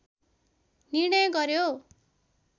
निर्णय गर्‍यो